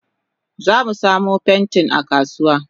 Zamu samu pentin akasuwa.